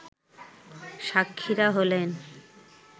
সাক্ষীরা হলেন